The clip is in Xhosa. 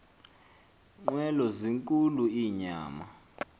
nqwelo zinkulu inyama